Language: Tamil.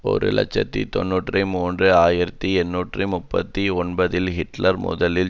ஒரு இலட்சத்தி தொன்னூற்றி மூன்று ஆயிரத்தி எண்ணூற்று முப்பத்தி ஒன்பதில் ஹிட்லர் முதலில்